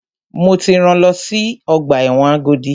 Mo ti rán lọ sí ọgbà ẹ̀wọ̀n Agodi!